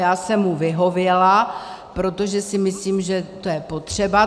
Já jsem mu vyhověla, protože si myslím, že to je potřeba.